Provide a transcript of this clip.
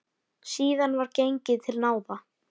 Síðan var gengið til náða.